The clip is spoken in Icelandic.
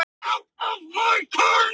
Íren, hvenær kemur leið númer tólf?